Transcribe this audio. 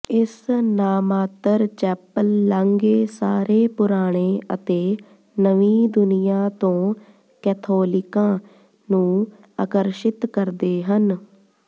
ਇਸ ਨਾਮਾਤਰ ਚੈਪਲ ਲਾਂਘੇ ਸਾਰੇ ਪੁਰਾਣੇ ਅਤੇ ਨਵੀਂ ਦੁਨੀਆਂ ਤੋਂ ਕੈਥੋਲਿਕਾਂ ਨੂੰ ਆਕਰਸ਼ਿਤ ਕਰਦੇ ਹਨ